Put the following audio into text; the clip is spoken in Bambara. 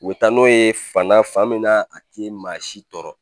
U bɛ taa n'o ye fan na fan min na a tɛ maa si tɔɔrɔ